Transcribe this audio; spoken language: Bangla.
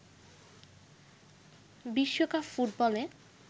বিশ্বকাপ ফুটবলে